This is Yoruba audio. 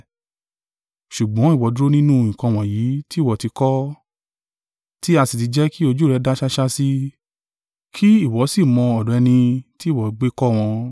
Ṣùgbọ́n ìwọ dúró nínú nǹkan wọ̀nyí tí ìwọ ti kọ́, tí a sì ti jẹ́ kí ojú rẹ dá ṣáṣá sí, kí ìwọ sì mọ̀ ọ̀dọ̀ ẹni tí ìwọ gbé kọ́ wọn.